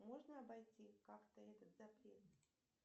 можно обойти как то этот запрет